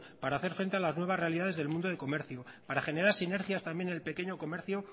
para hacer frente a las nuevas realidades del mundo del comercio para generar sinergias también en el pequeño comercio